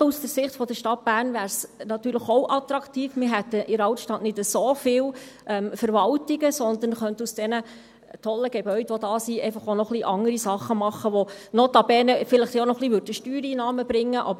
Gerade auch aus Sicht der Stadt Bern wäre es attraktiv, wir hätten in der Altstadt nicht so viele Verwaltungen, sondern könnten aus den tollen Gebäuden, die es gibt, auch noch andere Sachen machen, die notabene vielleicht auch ein paar Steuereinnahmen bringen würden.